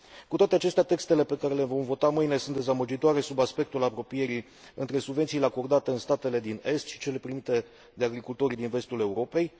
Cu toate acestea, textele pe care le vom vota mâine sunt dezamăgitoare sub aspectul apropierii între subvențiile acordate în statele din est și cele primite de agricultorii din vestul Europei.